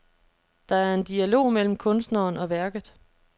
Der er en dialog mellem kunsteren og værket.